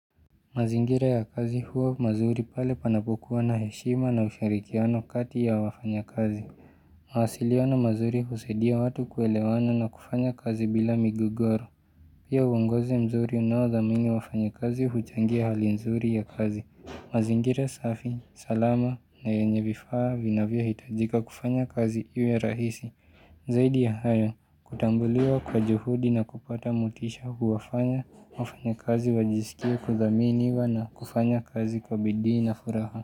Mazingira ya kazi huwa mazuri pale panapokuwa na heshima na ushirikiano kati ya wafanyakazi. Mawasiliano mazuri husaidia watu kuelewana na kufanya kazi bila migogoro. Pia uongozi mzuri unaodhamini wafanyakazi huchangia hali nzuri ya kazi. Mazingira safi, salama na yenye vifaa vinavyohitajika kufanya kazi iwe rahisi. Zaidi ya hayo, kutambuliwa kwa juhudi na kupata motisha huwafanya, wafanyakazi wajisikie kudhaminiwa na kufanya kazi kwa bidii na furaha.